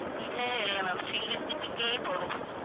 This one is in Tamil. இல்ல இல்ல ma'am single pic ஏ போதும்